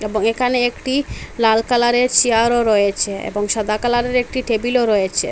এবং একানে একটি লাল কালারের চেয়ারও রয়েচে এবং সাদা কালারের একটি টেবিলও রয়েচে।